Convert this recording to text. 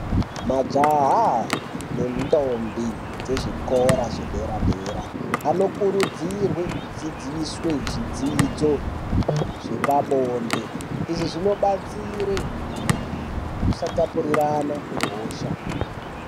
Majaha nentombi dzezvikora zvedera -dera anokurudzirwa kudzidziswe zvidzidzo zvepabode. Izvi zvinobatsire kusatapurirana kwehosha.